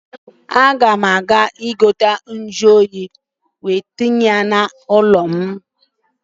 A ga m azụta igwe nju óyi m ga adọnye n'ime ụlọ ulo m